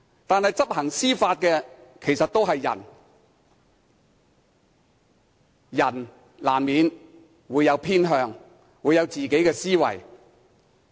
但是，執行法例的其實都是人，人難免會有偏向，會有自己的思維。